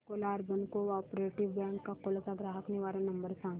the Akola urban cooperative bank Akola चा ग्राहक निवारण नंबर सांग